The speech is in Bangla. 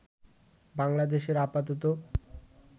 বাংলাদেশের আপাতত